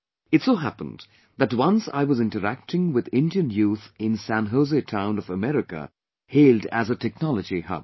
It so happened that once I was interacting with Indian youth in San Jose town of America hailed as a Technology Hub